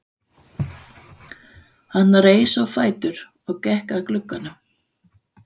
Hann reis á fætur og gekk að glugganum.